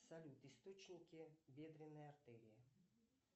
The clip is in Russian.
салют источники бедренной артерии